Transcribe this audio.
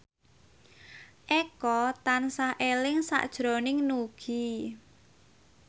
Eko tansah eling sakjroning Nugie